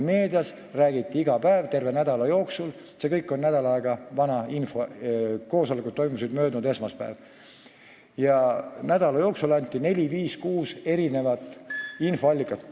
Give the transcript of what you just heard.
Meedias räägiti sellest iga päev, terve nädal – see kõik on nädal aega vana info, koosolekud toimusid möödunud esmaspäeval – ja anti selle nädala jooksul neli-viis-kuus infoallikat.